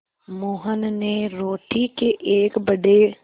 मोहन ने रोटी के एक बड़े